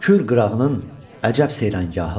Kür qırağının əcəb seyranigahı var.